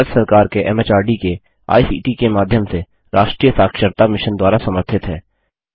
भारत सरकार के एमएचआरडी के आईसीटी के माध्यम से राष्ट्रीय साक्षरता मिशन द्वारा समर्थित है